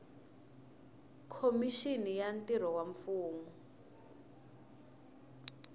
khomixini ya mintirho ya mfumo